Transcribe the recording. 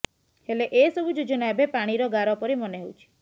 ହେଲେ ଏ ସବୁ ଯୋଜନା ଏବେ ପାଣିର ଗାର ପରି ମନେ ହେଉଛି